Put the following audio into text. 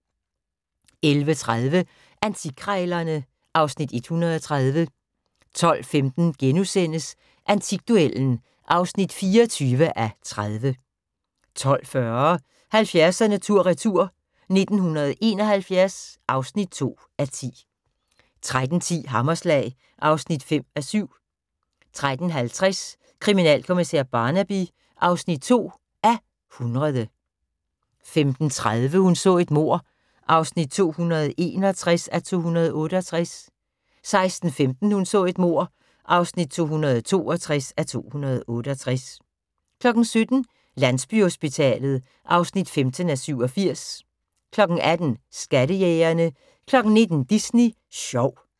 11:30: Antikkrejlerne (Afs. 130) 12:15: Antikduellen (24:30)* 12:40: 70'erne tur retur: 1971 (2:10) 13:10: Hammerslag (5:7) 13:50: Kriminalkommissær Barnaby (2:100) 15:30: Hun så et mord (261:268) 16:15: Hun så et mord (262:268) 17:00: Landsbyhospitalet (15:87) 18:00: Skattejægerne 19:00: Disney sjov